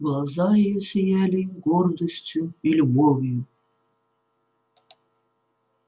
глаза её сияли гордостью и любовью